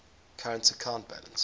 current account balance